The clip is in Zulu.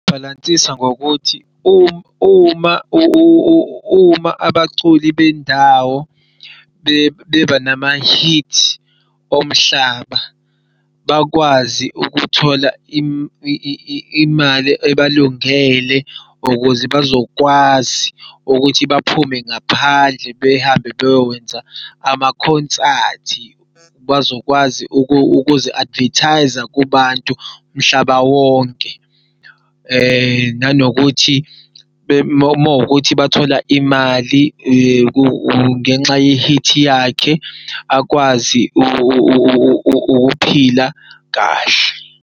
Bhalansisa ngokuthi uma abaculi bendawo bebanama-hit omhlaba bakwazi ukuthola imali abalungele ukuze bazokwazi ukuthi baphume ngaphandle behambe beyokwenza amakhonsathi. Bazokwazi ukuzi-advertise-a kubantu mhlaba wonke. Nanokuthi mawukuthi bathola imali ngenxa ye-hit yakhe akwazi ukuphila kahle.